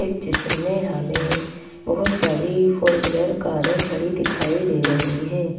इस चित्र में हमेंबहुत सारी फोर व्हीलर कारें खड़ी दिखाई दे रही हैं।